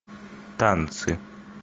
танцы